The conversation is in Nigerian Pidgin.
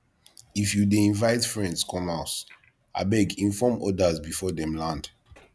if you dey invite friends come house abeg inform others before dem land